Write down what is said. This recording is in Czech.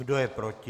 Kdo je proti?